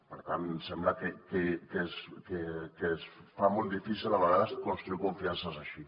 per tant em sembla que es fa molt difícil a vegades construir confiances així